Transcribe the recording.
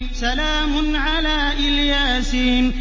سَلَامٌ عَلَىٰ إِلْ يَاسِينَ